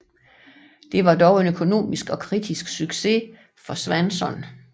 Det var dog en økonomisk og kritisk succes for Swanson